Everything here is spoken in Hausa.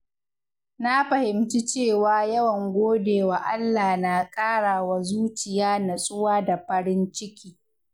Na fahimci cewa yawan godewa Allah na ƙara wa zuciya natsuwa da farin ciki.